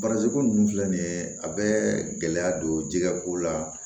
ko ninnu filɛ nin ye a bɛ gɛlɛya don jɛgɛko la